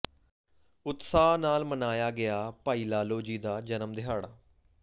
ਉਤਸਾਹ ਨਾਲ ਮਨਾਇਆ ਗਿਆ ਭਾਈ ਲਾਲੋ ਜੀ ਦਾ ਜਨਮ ਦਿਹਾੜਾ